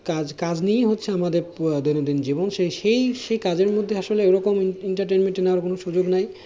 কাজ কাজ নিয়েই হচ্ছে আমাদের দৈনন্দিন জীবন সেই সেই সে কাজের মধ্যে আসলে ওরকম entertainment নেওয়ার কোনো সুযোগ নেই